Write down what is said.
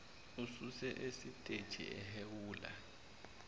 ususwa esiteji ehhewula